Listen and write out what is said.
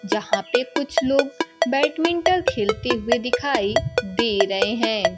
जहां पे कुछ लोग बैडमिंटल खेलते हुए दिखाई दे रहे हैं।